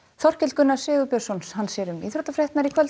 Þorkell Gunnar Sigurbjörnsson sér um íþróttafréttir í kvöld